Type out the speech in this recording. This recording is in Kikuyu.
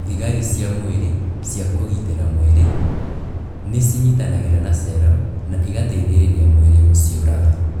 Thigari cia mwĩrĩ cia kũgitĩra mwĩrĩ, nĩ cinyitanagĩra na cero na igateithĩrĩria mwĩrĩ gũciũraga